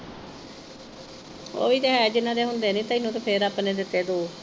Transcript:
ਓਵੀਂ ਤੇ ਹੈ ਜਿਨ੍ਹਾਂ ਦੇ ਹੁੰਦੇ ਨਈ ਤੈਨੂੰ ਤੇ ਫੇਰ ਰੱਬ ਨੇ ਦਿੱਤੇ ਦੋ।